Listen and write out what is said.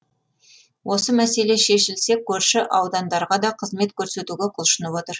осы мәселе шешілсе көрші аудандарға да қызмет көрсетуге құлшынып отыр